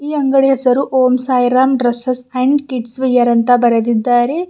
ಈ ಅಂಗಡಿ ಹೆಸರು Om Sai Ram dresses and kidswear ಅಂತ ಬರೆದಿದ್ದಾರೆ.